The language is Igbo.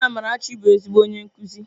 Nne Amarachi bụ ezigbo onye nkuzi.